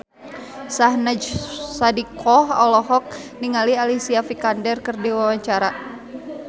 Syahnaz Sadiqah olohok ningali Alicia Vikander keur diwawancara